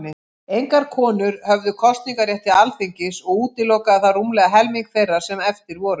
Engar konur höfðu kosningarétt til Alþingis, og útilokaði það rúmlega helming þeirra sem eftir voru.